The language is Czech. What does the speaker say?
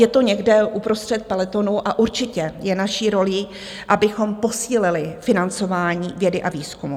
Je to někde uprostřed pelotonu a určitě je naší rolí, abychom posílili financování vědy a výzkumu.